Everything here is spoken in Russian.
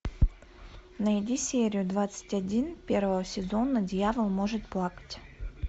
найди серию двадцать один первого сезона дьявол может плакать